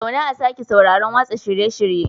Zauna a sake sauraron watsa shirye-shiryen